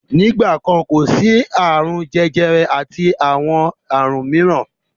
Nígbà kan, kò sí àrùn bí àrùn jẹjẹrẹ àti àrùn mìíràn.